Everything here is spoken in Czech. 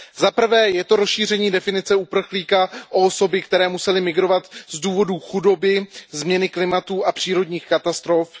Za prvé, je to rozšíření definice uprchlíka o osoby, které musely migrovat z důvodu chudoby, změny klimatu a přírodních katastrof.